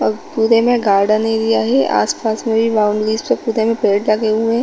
अब पूरे में गार्डन एरिया है आस - पास में भी बाउंड्रीज है पुरे में पेड़ लगे हुए है।